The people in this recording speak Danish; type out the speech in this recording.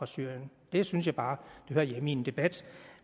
syrien det synes jeg bare hører hjemme i en debat